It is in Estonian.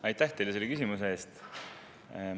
Aitäh teile selle küsimuse eest!